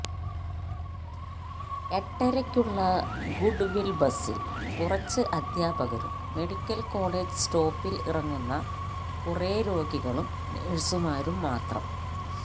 എട്ടരയ്ക്കുള്ള goodwill ബസിൽ കുറച്ച് അധ്യാപകരും മെഡിക്കൽ കോളജ് സ്റ്റോപ്പിൽ ഇറങ്ങുന്ന കുറെ രോഗികളും നഴ്സുമാരും മാത്രം